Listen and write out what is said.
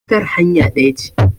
wutar hanya ɗaya ce